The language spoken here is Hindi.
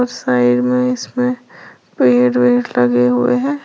साइड में इसमें पेड़ वेड़ लगे हुए हैं।